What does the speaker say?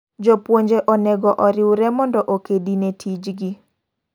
Jopuonje onego oriwremondo okedi ne tij gi.